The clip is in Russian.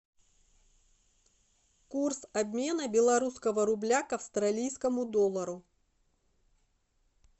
курс обмена белорусского рубля к австралийскому доллару